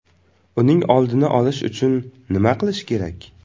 Uning oldini olish uchun nima qilish kerak?